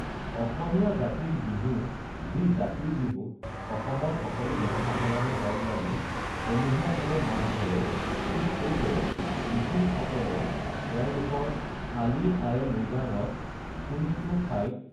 অসমীয়া জাতিৰ বিহু যি জাতিৰ বিহুত অসমৰ সকলো জনসাধাৰণে লগ লাগি সমূহীয়াভাৱে মাছ ধৰে ঠিক সেইদৰে মিছিংসকলে তেওঁলোকৰ আলি আঃয়ে লৃগাঙত কোনো কোনো ঠাইত